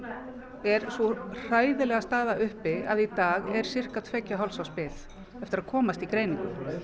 er sú hræðilega staða uppi að í dag er sirka tveggja og hálfs árs bið eftir að komast í greiningu